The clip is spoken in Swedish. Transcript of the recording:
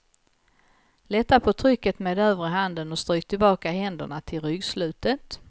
Lätta på trycket med övre handen och stryk tillbaka händerna till ryggslutet.